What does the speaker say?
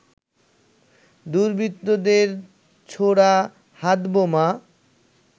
দুর্বৃত্তদের ছোড়া হাতবোমা